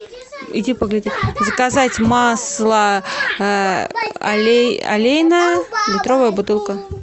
заказать масло олейна литровая бутылка